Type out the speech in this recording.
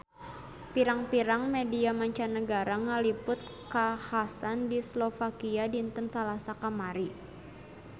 Pirang-pirang media mancanagara ngaliput kakhasan di Slovakia dinten Salasa kamari